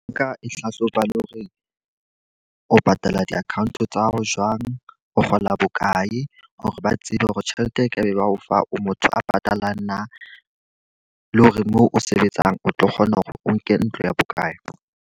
Nka e hlahloba le hore o patala di-account tsa hao jwang. O kgola bokae, hore ba tsebe hore tjhelete e ka be ba o fa o motho a patalang na, le hore mo o sebetsang o tlo kgona hore o nke ntlo ya bokae.